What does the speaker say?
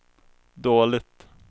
dåligt